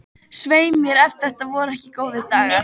Svei mér ef þetta voru ekki góðir dagar.